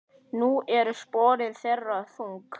Nú eru sporin þeirra þung.